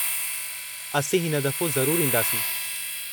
असीं हिन दफ़ो ज़रूरु ईंदासीं।